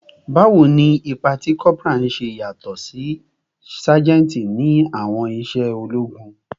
Bawo ni ipa ti corporal ṣe yatọ si ti sajenti ni awọn iṣẹ ologun?